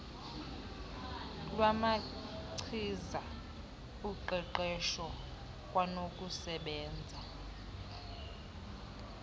lwamachiza uqeqeswho kwanokusebenza